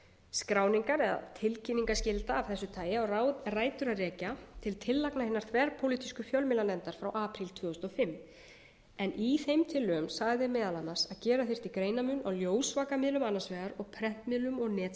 skráningar og tilkynningarskylda af þessu tagi á rætur að rekja til tillagna hinna þverpólitísku fjölmiðlanefndar frá apríl tvö þúsund og fimm en í þeim tillögum sagði meðal annars að gera þyrfti greinarmun á ljósvakamiðlum annars vegar og prentmiðlum og netmiðlum hins vegar hvað